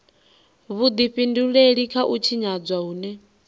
vhudifhinduleli kha u tshinyadzwa hune